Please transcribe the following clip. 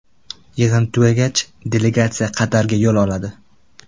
Yig‘in tugagach, delegatsiya Qatarga yo‘l oladi.